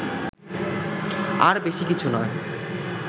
আর বেশি কিছু নয়